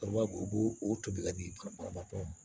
u b'o o tobi ka di karamɔgɔ tɔw ma